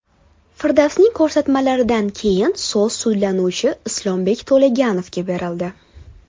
Firdavsning ko‘rsatmalaridan keyin so‘z sudlanuvchi Islombek To‘laganovga berildi.